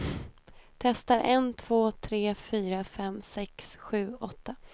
Testar en två tre fyra fem sex sju åtta.